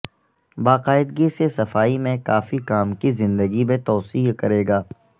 باقاعدگی سے صفائی میں کافی کام کی زندگی میں توسیع کرے گا